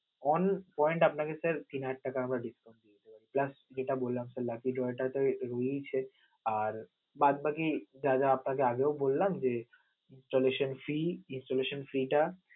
one point আপনেকে যদি sir তিন হাজার টাকা আমরা বেশি দিচ্ছি, just যেটা বললাম lucky drow টা আর বাদবাকি যা যা আপনাকে আগেও বললাম যে, installaion free installation fee টা